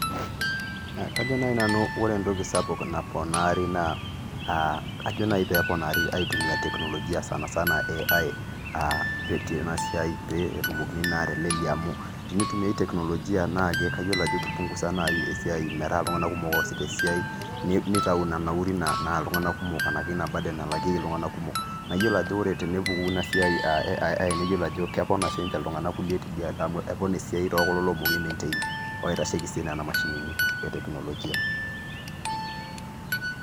Kjo naaji nai nanu ore entoki sapuk naponaari naa ajo nai peeponaari aitumia teknoligia sanasana cs[AI]cs aa tena siai peetumokini naatelelea amu, tenitumiyai teknolojia naake kayiolo ajo kipungusa nai esia metaa iltung'ana kumok oosita esia nitau ina nauri naa iltung'ana kumok anaki ina csburden]cs nalakieki iltun'ana kumok, naiyolo ajo ore tenepuku ina siai eai naiyolo ajo kepona sinche iltung'ana kulie tidialo amuu epona esia tookulo oomoki aimeintain oitasheiki sii nena mashinini eteknolojia.